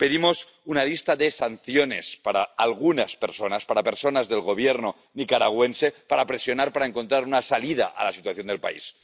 Pedimos una lista de sanciones para algunas personas, para personas del Gobierno nicaragüense, para presionar, para encontrar una salida a la situación del país